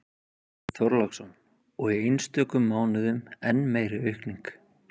Björn Þorláksson: Og í einstökum mánuðum enn meiri aukning?